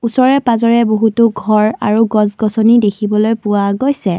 ওচৰে পাজৰে বহুতো ঘৰ আৰু গছ গছনি দেখিবলৈ পোৱা গৈছে।